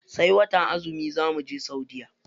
Sai watan azumi za muje saudiya.